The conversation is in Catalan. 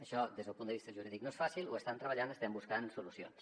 això des del punt de vista jurídic no és fàcil ho estan treballant estem buscant solucions